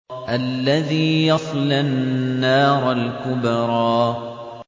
الَّذِي يَصْلَى النَّارَ الْكُبْرَىٰ